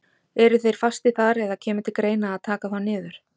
Eru þeir fastir þar eða kemur til greina að taka þá niður?